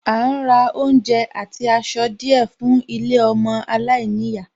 À ń ra àwọn oúnjẹ àti aṣọ díẹ̀ fún ilé ọmọ aláìníyàá